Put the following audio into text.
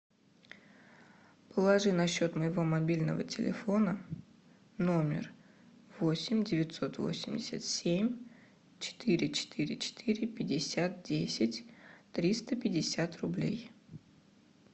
положи на счет моего мобильного телефона номер восемь девятьсот восемьдесят семь четыре четыре четыре пятьдесят десять триста пятьдесят рублей